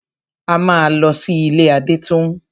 A máa lọ sí ilé Adétóun.